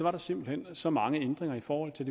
at der simpelt hen var så mange ændringer i forhold til